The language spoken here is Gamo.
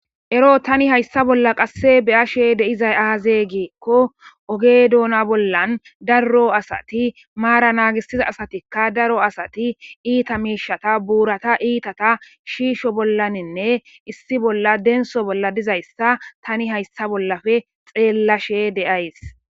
Ero tani hayssa bolla qasse beyashe deizay aazegiekko oge doona bollan daro asati maara naagissiza asatikka daro asati iita miishata buurata iitata shiisho bollaninne issi bolla denso bolla dizayssa tani hayssa bollafe xeellashe deays.